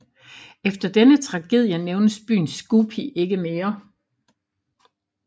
Efter denne tragedie nævnes byen Scupi ikke mere